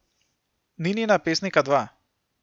Ninina pesnika dva.